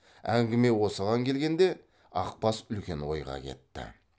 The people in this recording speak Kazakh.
әңгіме осыған келгенде ақбас үлкен ойға кетті